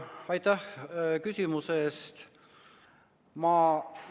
Aitäh küsimuse eest!